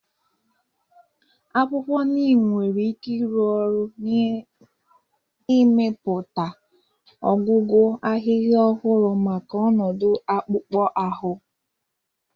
Akwụkwọ Neem nwere ike ịrụ ọrụ n'ịmepụta ọgwụgwọ ahịhịa ọhụrụ maka ọnọdụ akpụkpọ ahụ.